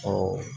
Ɔ